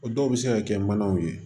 O dɔw bɛ se ka kɛ manaw ye